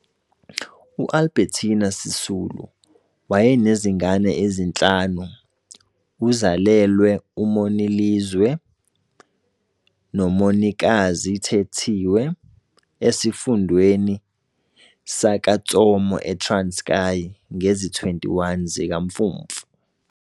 UAlbertina Sisulu wayenezingane ezinhlanu uzalelwe uMonilizwe noMonikazi Thethiwe esifundweni saka Tsomo e Transkei ngezi 21 zikaMfumfu.